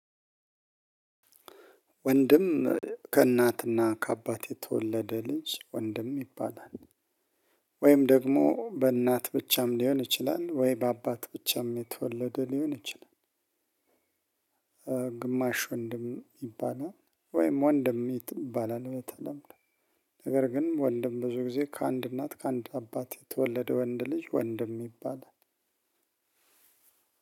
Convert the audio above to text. ወንድም ከእናትና ከአባት የተወለደ ልጅ ወንድም ይባላል። ወይም ደግሞ በእናት ብቻም ሊሆን ይችላል ወይ በአባት ብቻም የተወለደ ሊሆን ይችላል። ግማሽ ወንድም ይባላል። ወይም ወንድም ይባላል በተለምዶ። ነገር ግን ወንድም ብዙ ጊዜ ከአንድ እናት ከአንድ አባት የተወለደ ወንድ ልጅ ወንድም ይባላል።